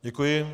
Děkuji.